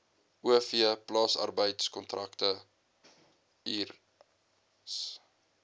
o v plaasarbeidkontrakteurs